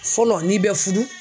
Fɔlɔ n'i bɛ furu.